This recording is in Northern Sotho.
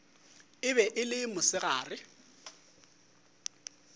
e be e le mosegare